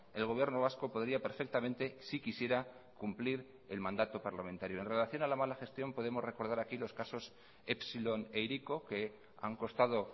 el gobierno vasco podría perfectamente si quisiera cumplir el mandato parlamentario en relación a la mala gestión podemos recordar aquí los casos epsilon e hiriko que han costado